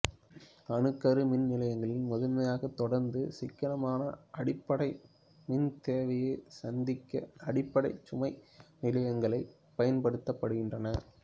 அணுக்கரு மின் நிலையங்கள் முதன்மையாக தொடர்ந்த சிக்கனமான அடிப்படை மின்தேவையைச் சந்திக்க அடிப்படைச் சுமை நிலையங்களாகப் பயன்படுத்தப்படுகின்றன